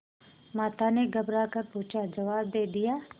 माता ने घबरा कर पूछाजवाब दे दिया